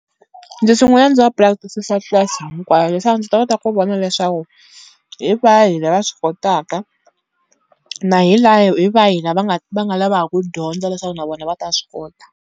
Ndzi sungula ndzi va practice-isa class hinkwayo leswaku ndzi ta kota ku vona leswaku hi vahi lava swi kotaka, na hi hi vahi lava nga va nga lavaka ku dyondza leswaku na vona va ta swi kota.